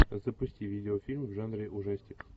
запусти видеофильм в жанре ужастик